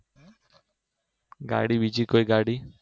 ગાડી બીજી કોઈ ગાડી